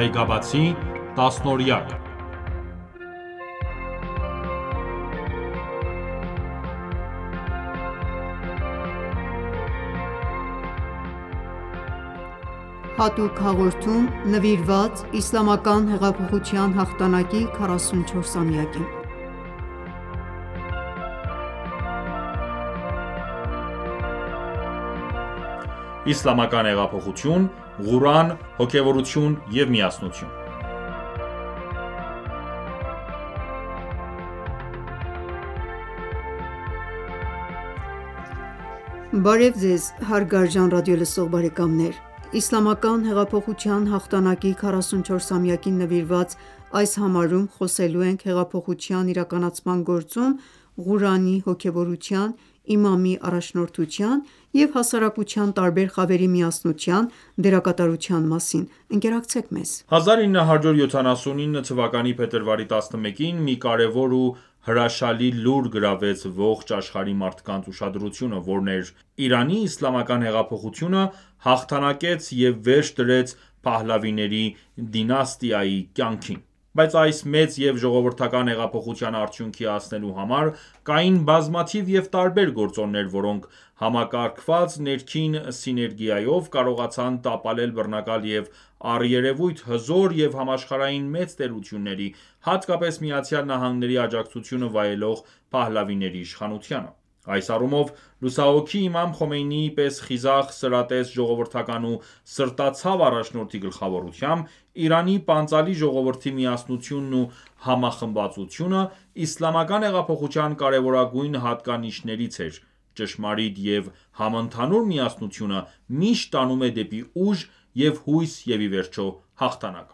Այգաբացի տասնօրյակ (7․ Հատուկ հաղորդում նվիրված Իսլամական հեղափոխության հաղթանակի 44-ամյակին ) Իսլամական հեղափոխություն, Ղուրան, հոգևորություն և միասնություն։ Բարև ձեզ հարգարժան ռադիոլսող բարեկամներ։ Իսլամական հեղափոխության հաղթանակի 44-ամյակին նվիրված այս համարում խոսելու ենք հեղափոխության իրականացման գործում Ղուրանի, հոգևորության, իմամի առաջնորդության և հասարակության տարբեր խավերի միասնության դերակատարության մասին: Ընկերակցեք մեզ։ 1979 թվականի փետրվարի 11-ին մի կարևոր և հրաշալի լուր գրավեց ողջ աշխարհի մարդկանց ուշադրությունը, որն էր՝ «Իրանի իսլամական հեղափոխությունը հաղթանակեց և վերջ դրեց Փահլավիների դինաստիայի կյանքին»: Բայց այս մեծ և ժողովրդական հեղափոխության արդյունքի հասնելու համար կային բազմաթիվ և տարբեր գործոններ, որոնք, համակարգված ներքին սիներգիայով, կարողացան տապալել բռնակալ և առերեւույթ հզոր և համաշխարհային մեծ տերությունների, հատկապես Միացյալ Նահանգների աջակցությունը վայելող փահլավիների իշխանությանը: Այս առումով լուսահոգի Իմամ Խոմեյնիի պես խիզախ, սրատես, ժողովրդական ու սրտացավ առաջնորդի գլխավորությամբ Իրանի պանծալի ժողովրդի միասնությունն ու համախմբվածությունը Իսլամական հեղափոխության կարեւորագույն հատկանիշներից էր։ Ճշմարիտ և համընդհանուր միասնությունը միշտ տանում է դեպի ուժ և հույս և ի վերջո հաղթանակ: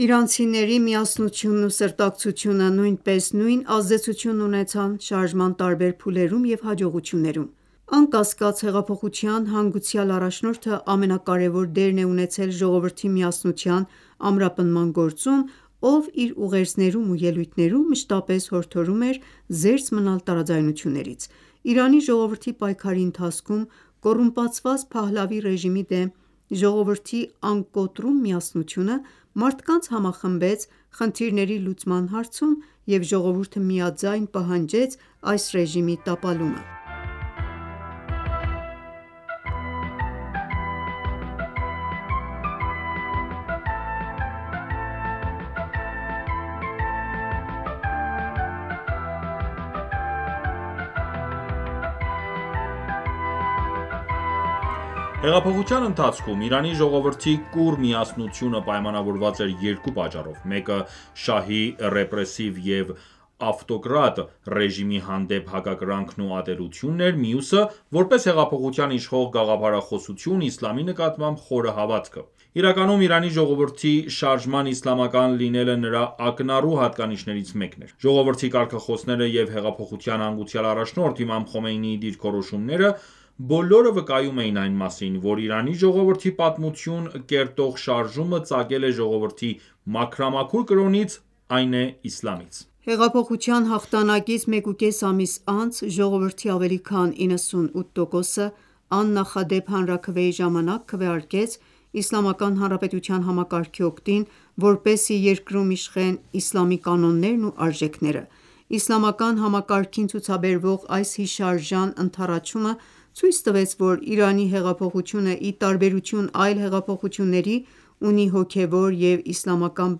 Իրանցիների միասնությունն ու սրտակցությունը նույնպես նույն ազդեցությունն ունեցան շարժման տարբեր փուլերում և հաջողություններում։ Անկասկած, հեղափոխության հանգուցյալ առաջնորդը ամենակարեւոր դերն է ունեցել ժողովրդի միասնության ամրապնդման գործում, ով իր ուղերձներում ու ելույթներում մշտապես հորդորում էր զերծ մնալ տարաձայնություններից։ Իրանի ժողովրդի պայքարի ընթացքում կոռումպացված Փահլավի ռեժիմի դեմ ժողովրդի անկոտրում միասնությունը մարդկանց համախմբեց խնդիրների լուծման հարցում, և ժողովուրդը միաձայն պահանջեց այս ռեժիմի տապալումը։ Հեղափոխության ընթացքում Իրանի ժողովրդի կուռ միասնությունը պայմանավորված էր երկու պատճառով, մեկը շահի ռեպրեսիվ և ավտոկրատ ռեժիմի հանդեպ հակակրանքն ու ատելությունն էր, մյուսը` որպես հեղափոխության իշխող գաղափարախոսություն՝ իսլամի նկատմամբ խորը հավատքը: Իրականում Իրանի ժողովրդի շարժման իսլամական լինելը նրա ակնառու հատկանիշներից մեկն էր: Ժողովրդի կարգախոսները և հեղափոխության հանգուցյալ առաջնորդ Իմամ Խոմեյնիի դիրքորոշումները բոլորը վկայում էին այն մասին, որ Իրանի ժողովրդի պատմություն կերտող շարժումը ծագել է ժողովրդի մաքրամաքուր կրոնից, այն է՝ իսլամից։ Հեղափոխության հաղթանակից մեկուկես ամիս անց ժողովրդի ավելի քան 98 տոկոսը աննախդեպ հանրաքվեի ժամանակ քվեարկեց Իսլամական Հանրապետության համակարգի օգտին, որպեսզի երկրում իշխեն իսլամի կանոններն ու արժեքները։ Իսլամական համակարգին ցուցաբերվող այս հիշարժան ընդառաջումը ցույց տվեց, որ Իրանի հեղափոխությունը, ի տարբերություն այլ հեղափոխությունների, ունի հոգևոր և իսլամական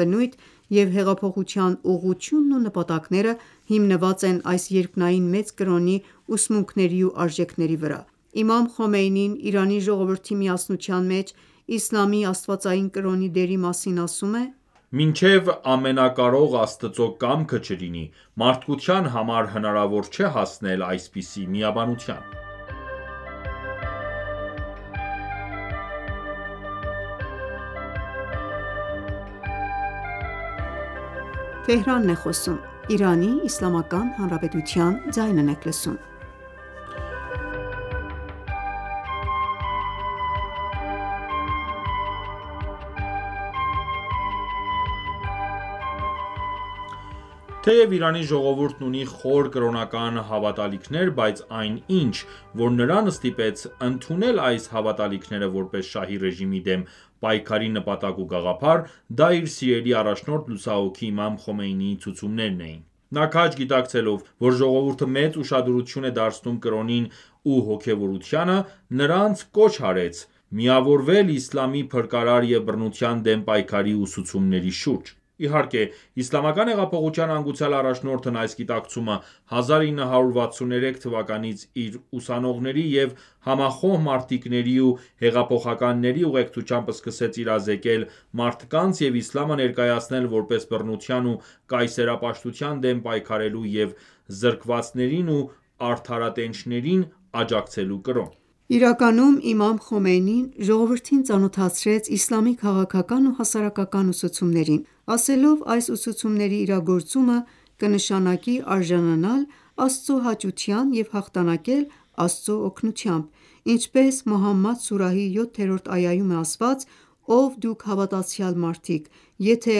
բնույթ, և հեղափոխության ուղղությունն ու նպատակները հիմնված են այս երկնային մեծ կրոնի ուսմունքների ու արժեքների վրա։ Իմամ Խոմեյնին Իրանի ժողովրդի միասնության մեջ Իսլամի աստվածային կրոնի դերի մասին ասում է. «Մինչև Ամենակարող Աստծո կամքը չլինի, մարդկության համար հնարավոր չէ հասնել այսպիսի միաբանության»։ Թեև Իրանի ժողովուրդն ունի խոր կրոնական հավատալիքներ, բայց այն ինչ, որ նրան ստիպեց ընդունել այս հավատալիքները որպես շահի ռեժիմի դեմ պայքարի նպատակ ու գաղափար, դա իր սիրելի առաջնորդ լուսահոգի իմամ Խոմեյնիի ցուցումներն էին։ Նա քաջ գիտակցելով, որ ժողովուրդը մեծ ուշադրություն է դարձնում կրոնին ու հոգևորությանը, նրանց կոչ արեց միավորվել իսլամի փրկարար և բռնության դեմ պայքարի ուսուցումների շուրջ։ Իհարկե, Իսլամական հեղափոխության հանգուցյալ առաջնորդն այս գիտակցումը 1963 թվականից իր ուսանողների և համախոհ մարտիկների ու հեղափոխականների ուղեկցությամբ սկսեց իրազեկել մարդկանց և իսլամը ներկայացնել որպես բռնության ու կայսերապաշտության դեմ պայքարելու և զրկվածներին ու արդարատենչներին աջակցելու կրոն։ Իրականում իմամ Խոմեյնին ժողովրդին ծանոթացրեց իսլամի քաղաքական ու հասարակական ուսուցումներին, ասելով այս ուսուցումների իրակագործումը կնշանակի արժանանալ Աստծո հաճության և հաղթանակել Աստծո օգնությամբ։ Ինչպես «Մոհամմադ» սուրահի 7-րդ այայում է ասված․-«Ով դուք հավատացյալ մարդիկ, եթե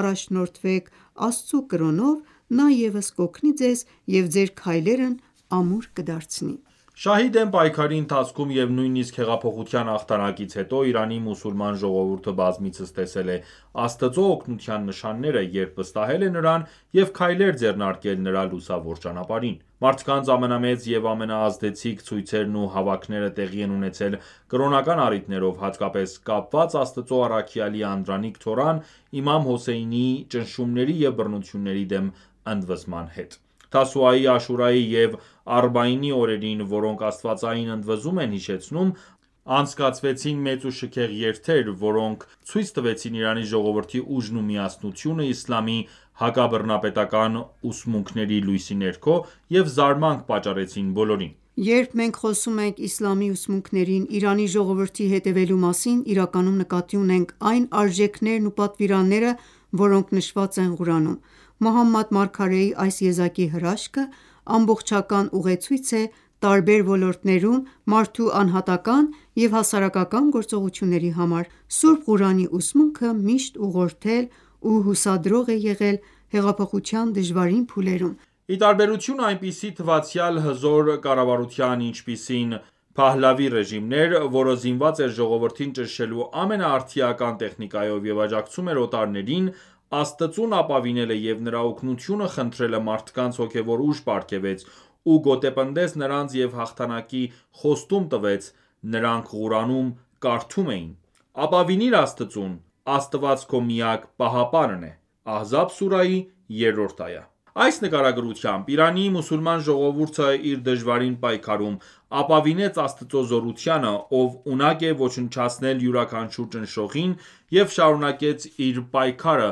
առաջնորդվեք Աստծու կրոնով, Նա ևս կօգնի ձեզ և ձեր քայլերն ամուր կդարձնի»։ Շահի դեմ պայքարի ընթացքում և նույնիսկ հեղափոխության հաղթանակից հետո Իրանի մուսուլման ժողովուրդը բազմիցս տեսել է Աստծո օգնության նշանները, երբ վստահել է Նրան և քայլեր ձեռնարկել Նրա լուսավոր ճանապարհին: Մարդկանց ամենամեծ և ամենաազդեցիկ ցույցերն ու հավաքները տեղի են ունեցել կրոնական առիթներով, հատկապես՝ կապված Աստծո առաքյալի անդրանիկ թոռան՝ Իմամ Հոսեյնի՝ ճնշումների և բռնությունների դեմ ընդվզման հետ։ Թասուայի, Աշուրայի և Արբաինի օրերին, որոնք աստվածային ընդվզումն են հիշեցնում, անցկացվեցին մեծ ու շքեղ երթեր, որոնք ցույց տվեցին Իրանի ժողովրդի ուժն ու միասնությունը իսլամի հակաբռնապետական ուսմունքների լույսի ներքո և զարմանք պատճառեցին բոլորին։ Երբ մենք խոսում ենք իսլամի ուսմունքներին Իրանի ժողովրդի հետևելու մասին, իրականում նկատի ունենք այն արժեքներն ու պատվիրանները, որոնք նշված են Ղուրանում: Մուհամմադ Մարգարեի այս եզակի հրաշքը ամբողջական ուղեցույց է տարբեր ոլորտներում մարդու անհատական և հասարակական գործողությունների համար: Սուրբ Ղուրանի ուսմունքը միշտ ուղղորդել ու հուսադրող է եղել հեղափոխության դժվարին փուլերում։ Ի տարբերություն այնպիսի թվացյալ հզոր կառավարության, ինչպիսին Փահլավի ռեժիմն էր, որը զինված էր ժողովրդին ճնշելու ամենաարդիական տեխնիկայով և աջակցում էր օտարներին, Աստծուն ապավինելը և Նրա օգնությունը խնդրելը մարդկանց հոգևոր ուժ պարգևեց ու գոտեպնդեց նրանց և հաղթանակի խոստում տվեց: Նրանք Ղուրանում կարդում էին. «Ապավինիր Աստծուն: Աստված քո միակ պահապանն է»: ( Ահզաբ սուրահի երրորդ այա)։ Այս նկարագրությամբ Իրանի մուսուլման ժողովուրդը, իր դժվարին պայքարում, ապավինեց Աստծո զորությանը, Ով ունակ է ոչնչացնել յուրաքանչյուր ճնշողին, և շարունակեց իր պայքարը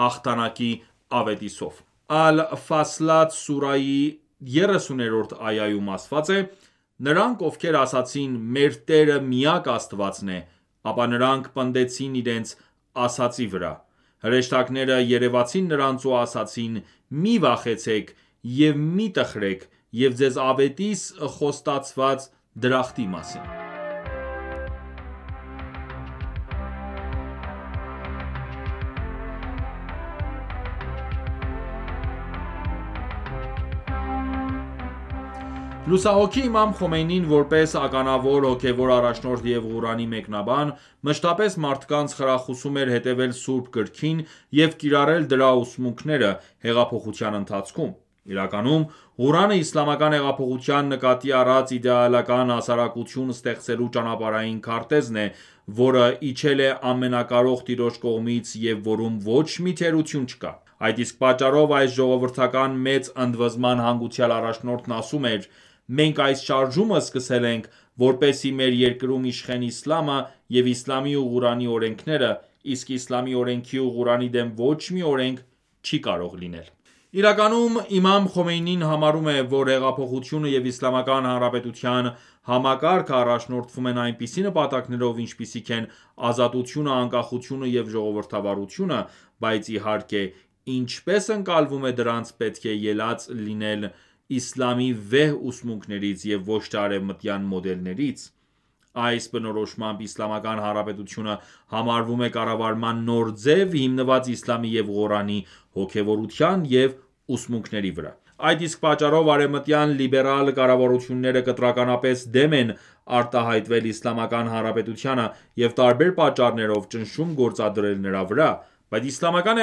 հաղթանակի ավետիսով: Ալ-Ֆասլաթ սուրայհի ա 30-րդ այայում ասված է. ««Նրանք ովքեր ասացին՝մեր Տերը միակ Աստվածն է»,ապա նրանք պնդեցին իրենց ասածի վրա։ Հրեշտակները երևացին նրանց ու ասացին. «Մի վախեցեք և մի տխրեք, և ձեզ ավետիս խոստացված դրախտի մասին»: Լուսահոգի Իմամ Խոմեյնին որպես ականավոր հոգեւոր առաջնորդ և Ղուրանի մեկնաբան, մշտապես մարդկանց խրախուսում էր հետևել Սուրբ Գրքին և կիրառել դրա ուսմունքները հեղափոխության ընթացքում: Իրականում, Ղուրանը Իսլամական հեղափոխության նկատի առած իդեալական հասարակություն ստեղծելու ճանապարհային քարտեզն է, որը իջել է Ամենակարող Տիրոջ կողմից և որում ոչ մի թերություն չկա: Այդ իսկ պատճառով այս ժողովրդական մեծ ընդվզման հանգուցյալ առաջնորդն ասում էր․-«Մենք այս շարժումը սկսել ենք, որպեսզի մեր երկրում իշխեն իսլամը, և իսլամի ու Ղուրանի օրենքները, իսկ Իսլամի օրենքի ու Ղուրանի դեմ ոչ մի օրենք չի կարող լինել»։ Իրականում իմամ Խոմեյնին համարում է, որ հեղափոխությունը և Իսլամական Հանրապետության համակարգը առաջնորդվում են այնպիսով նպատակներով, ինչպիսիք են ազատությունը, անկախությունը և ժողովրդավարությունը, բայց իհարկե ինչպես ընկալվում է դրանք պետք է ելած լինեն իսլամի վեհ ուսմունքներից և ոչ թե արևմտյան մոդելներից: Այս բնորոշմամբ Իսլամական Հանրապետությունը համարվում է կառավարման նոր ձև՝ հիմնված իսլամի և Ղուրանի հոգևորության և ուսմունքների վրա: Այդ իսկ պատճառով արեւմտյան լիբերալ կառավարությունները կտրականապես դեմ են արտահայտվել Իսլամական հանրապետությանը եւ տարբեր պատճառներով ճնշում գործադրել նրա վրա: Բայց Իսլամական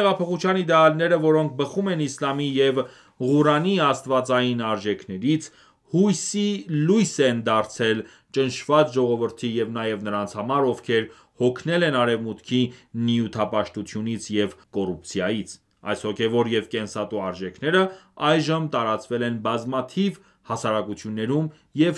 հեղափոխության իդեալները, որոնք բխում են իսլամի և Ղուրանի աստվածային արժեքներից, հույսի լույս են դարձել ճնշված ժողովրդի և նաև նրանց համար, ովքեր հոգնել են Արևմուտքի նյութապաշտությունից և կոռուպցիայից: Այս հոգևոր և կենսատու արժեքները այժմ տարածվել են բազմաթիվ հասարակություններում և